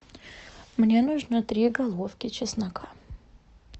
мне нужно три головки чеснока